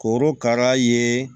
Korokara ye